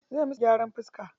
Zai musu gyaran fiska.